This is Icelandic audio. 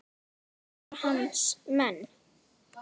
Þetta voru hans menn.